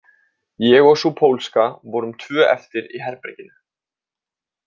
Ég og sú pólska vorum tvö eftir í herberginu.